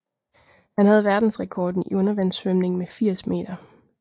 Han havde verdensrekorden i undervandssvømning med 80 meter